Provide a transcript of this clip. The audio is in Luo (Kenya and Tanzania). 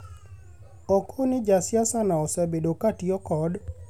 "Oko ni ja siasa no osebedo ka tiyo kod